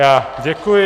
Já děkuji.